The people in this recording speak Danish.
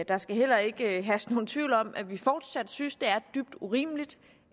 der skal heller ikke herske nogen tvivl om at vi fortsat synes det er dybt urimeligt